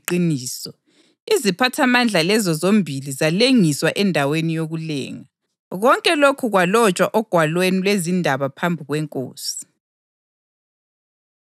Kwathi lowombiko usuhlolisisiwe kwatholakala ukuthi uliqiniso, iziphathamandla lezo zombili zalengiswa endaweni yokulenga. Konke lokhu kwalotshwa ogwalweni lwezindaba phambi kwenkosi.